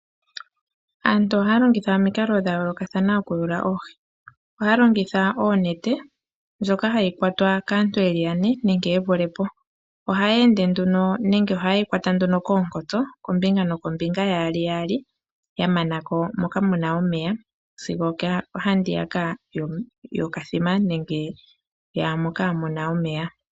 Aantu ohaya longitha mikalo dha yoolokathana oku yuula oohi. Ohaya longitha onete, ndjoka hayi kwatwa kaantu yeli yane nenge ye vulepo. Ohaya ende nduno nenge oha yeyi kwata nduno koonkotso, kombinga nokombinga yaali yaali ya manako moka muna omeya sigo ohandiyaka yokathima nenge yaamoka muna omeya.